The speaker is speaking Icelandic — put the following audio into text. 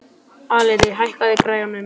Alida, hækkaðu í græjunum.